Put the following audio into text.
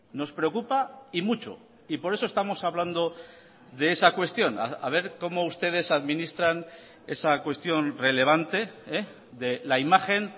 nos preocupa y mucho y por eso estamos hablando de esa cuestión a ver cómo ustedes administran esa cuestión relevante de la imagen